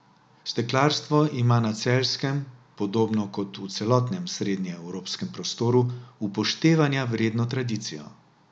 Steklarstvo ima na Celjskem, podobno kot v celotnem srednjeevropskem prostoru, upoštevanja vredno tradicijo.